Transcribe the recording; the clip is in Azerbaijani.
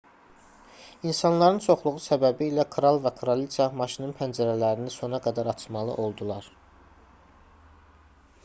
i̇nsanların çoxluğu səbəbilə kral və kraliça maşının pəncərələrini sona qədər açmalı oldular